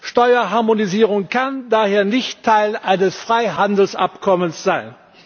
Steuerharmonisierung kann daher nicht Teil eines Freihandelsabkommens sein.